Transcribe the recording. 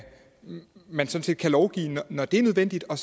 man sådan set kan lovgive når det er nødvendigt og